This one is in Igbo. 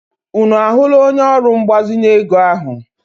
Unu ahụla onye ọrụ mgbazinye ego ahụ?